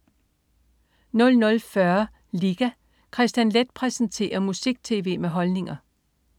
00.40 Liga. Kristian Leth præsenterer musik-tv med holdninger